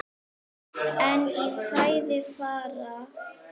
En í fæði fara